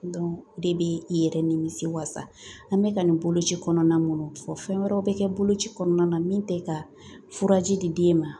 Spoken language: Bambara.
o de bɛ i yɛrɛ nimisi wasa an bɛ ka nin boloci kɔnɔna minnu fɔ fɛn wɛrɛw bɛ kɛ boloci kɔnɔna na min tɛ ka furaji di den ma